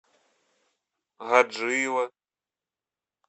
гаджиево